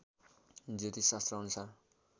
ज्योतिष शास्त्रअनुसार